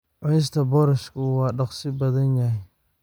Cunista boorashku waa dhakhso badan yahay.